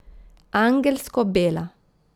Angelsko bela.